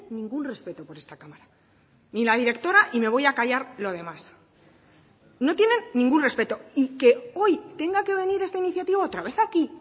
ningún respeto por esta cámara ni la directora y me voy a callar lo demás no tienen ningún respeto y que hoy tenga que venir esta iniciativa otra vez aquí